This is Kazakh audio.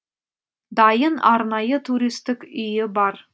дайын арнайы туристік үйі бар